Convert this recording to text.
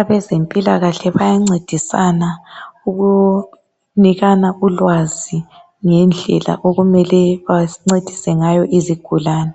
Abezempilakahle bayancedisana ukunikana ulwazi ngendlela okumele bancedise ngayo izigulane